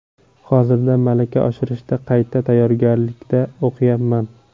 Hozirda malaka oshirishda qayta tayyorgarlikda o‘qiyapman.